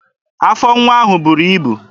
Afọ nwata ahụ buru ibu.